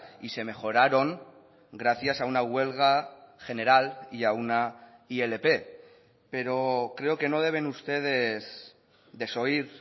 y se mejoraron gracias a una huelga general y a una ilp pero creo que no deben ustedes desoír